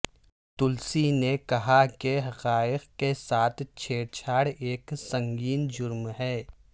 تلسی نے کہا کہ حقائق کے ساتھ چھیڑ چھاڑ ایک سنگین جرم ہے